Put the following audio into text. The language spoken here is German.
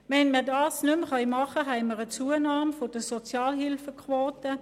Können wir diese nicht mehr anbieten, haben wir eine Zunahme der Sozialhilfequote.